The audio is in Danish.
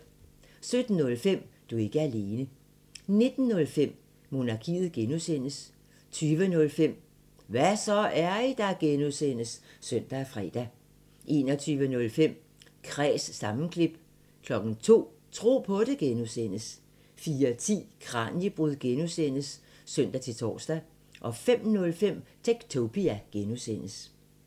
17:05: Du er ikke alene 19:05: Monarkiet (G) 20:05: Hva' så, er I der? (G) (søn og fre) 21:05: Kræs sammenklip 02:00: Tro på det (G) 04:10: Kraniebrud (G) (søn-tor) 05:05: Techtopia (G)